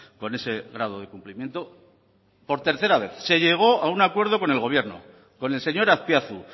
con ese grado de cumplimiento por tercera vez se llegó a un acuerdo con el gobierno con el señor azpiazu